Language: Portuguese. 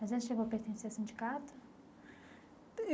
Mas ele chegou a pertencer a sindicato?